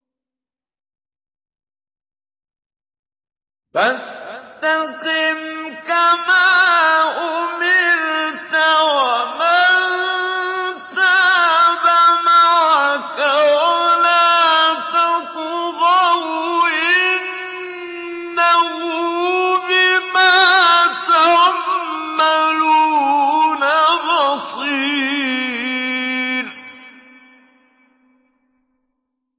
فَاسْتَقِمْ كَمَا أُمِرْتَ وَمَن تَابَ مَعَكَ وَلَا تَطْغَوْا ۚ إِنَّهُ بِمَا تَعْمَلُونَ بَصِيرٌ